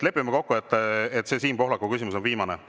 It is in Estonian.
Lepime kokku, et see Siim Pohlaku küsimus on viimane.